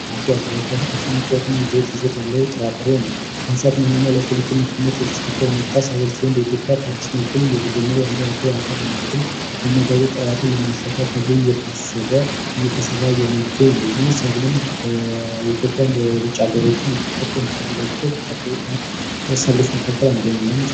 አኩሪ አተር አኩሪ አተር በጣም ከፍተኛ የፕሮቲን መጠን ያለው ጥራጥሬ ነው ለሰው ልጅ ምግብነት የሚያገለግል ነው በኢትዮጵያ በአዲስ መልኩ እየተጀመረ ያለ የአኩሪ አተር የአመጋገብ ስርዓትን ለማሻሻል እየታሰበ እየተሰራ የሚገኝ ነው ይህ ሰብልም ለኢትዮጵያና ለውጭ አገሮች ኤክስፖርት ከሚደረጉ ሰብሎች መካከል አንደኛው ነው።